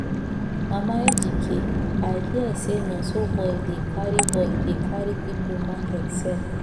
mama ejike i hear say nonso boy dey carry boy dey carry people market sell